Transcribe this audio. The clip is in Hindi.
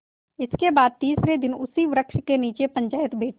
इसके बाद तीसरे दिन उसी वृक्ष के नीचे पंचायत बैठी